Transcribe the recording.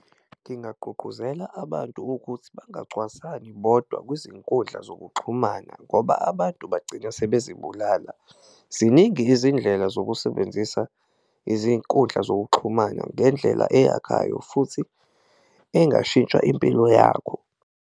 Ngingagqugquzela abantu ukuthi bangacwaswani bodwa kwizinkundla zokuxhumana ngoba abantu bagcina sebezibulala, ziningi izindlela zokusebenzisa izinkundla zokuxhumana ngendlela eyakhayo futhi engashintsha impilo yakho.